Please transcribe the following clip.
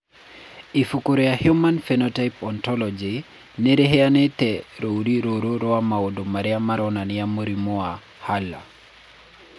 Ibuku rĩa The Human Phenotype Ontology nĩ rĩheanĩte rũũri rũrũ rwa maũndũ marĩa maronania mũrimũ wa Hurler.